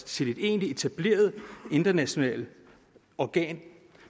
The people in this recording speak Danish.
til et egentligt etableret internationalt organ